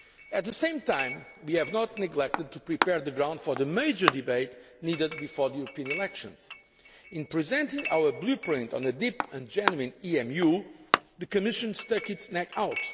At the same time, we have not neglected to prepare the ground for the major debate needed before the European elections in presenting our Blueprint on a Deep and Genuine EMU, the Commission stuck its neck